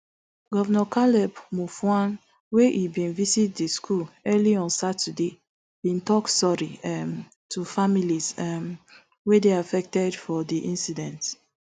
govnor caleb mutfwang wen e bin visit di school early on saturday bin tok sorry um to families um wey dey affected for di incident